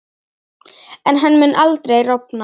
En hann mun aldrei rofna.